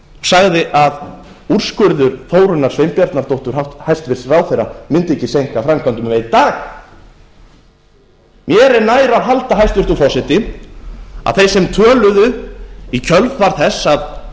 sagði að úrskurður þórunnar sveinbjarnardóttur hæstvirtur ráðherra mundi ekki seinka framkvæmdum um einn dag mér er nær að halda hæstvirtur forseti að þeir sem töluðu í kjölfar þess að